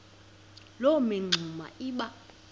loo mingxuma iba